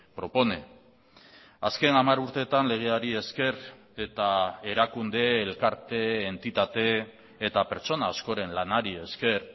propone azken hamar urteetan legeari esker eta erakunde elkarte entitate eta pertsona askoren lanari esker